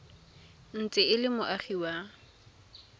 ntse e le moagi wa